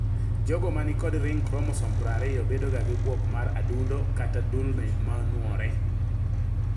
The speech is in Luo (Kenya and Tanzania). Jogo manikod ring chromosome 20 bedoga gi buok mar adundo kata ndulme manuore.